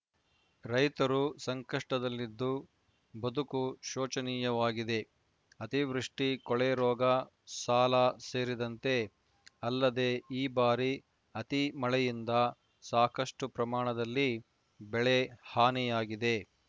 ರೈತರು ಸಂಕಷ್ಟದಲ್ಲಿದ್ದು ಬದುಕು ಶೋಚನೀಯವಾಗಿದೆ ಅತಿವೃಷ್ಟಿ ಕೊಳೆರೋಗ ಸಾಲ ಸೇರಿದಂತೆ ಅಲ್ಲದೇ ಈ ಬಾರಿ ಅತಿ ಮಳೆಯಿಂದ ಸಾಕಷ್ಟುಪ್ರಮಾಣದಲ್ಲಿ ಬೆಳೆ ಹಾನಿಯಾಗಿದೆ